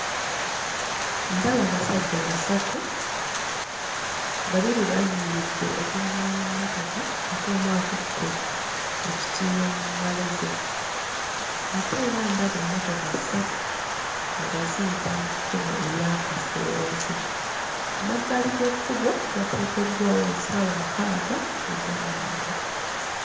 Ndaba abasajja basatu babiri bayimiridde okulinaana emmotoka ate omu akutte ekitiiyo mu ngalo ze ate era ndaba emmotoka ssatu nga ziyita mu kkubo eryakaseerezi, ku mabbali g'ekkubo wateekeddwawo ensawo mukaaga ez'amanda.